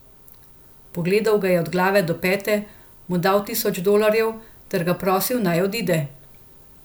Pogledal ga je od glave do peta, mu dal tisoč dolarjev ter ga prosil, naj odide.